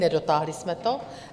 Nedotáhli jsme to.